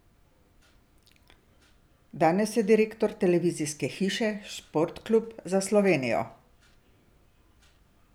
Danes je direktor televizijske hiše Sportklub za Slovenijo.